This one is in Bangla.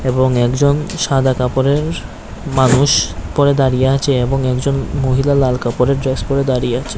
এবং একজন সাদা কাপড়ের মানুষ উপরে দাঁড়িয়ে আছে এবং একজন মহিলা লাল কাপড়ের ড্রেস পরে দাঁড়িয়ে আছে।